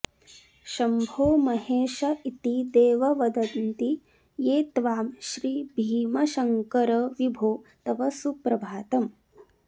शम्भो महेश इति देव वदन्ति ये त्वां श्रीभीमशङ्करविभो तव सुप्रभातम्